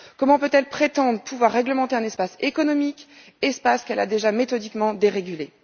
Comment peut elle prétendre pouvoir réglementer un espace économique, espace qu'elle a déjà méthodiquement dérégulé?